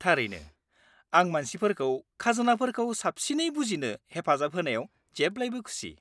-थारैनो, आं मानसिफोरखौ खाजोनाफोरखौ साबसिनै बुजिनो हेफाजाब होनायाव जेब्लाबो खुसि।